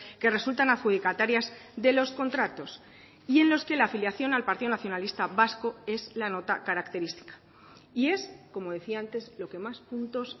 que resultan adjudicatarias de los contratos y en los que la afiliación al partido nacionalista vasco es la nota característica y es como decía antes lo que más puntos